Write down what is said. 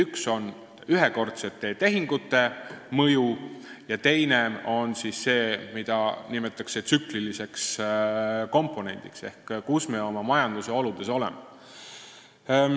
Üks on ühekordsete tehingute mõju ja teist nimetatakse tsükliliseks komponendiks ehk see on see, kus me oma majandusoludes oleme.